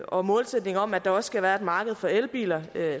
og målsætning om at der også skal være et marked for elbiler